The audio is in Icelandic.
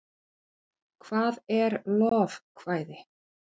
hvað er lovekvæði